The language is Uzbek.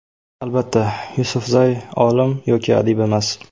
Albatta, Yusufzay olim yoki adib emas.